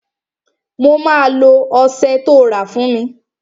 Mo máa lo ọsẹ tó rà fún mi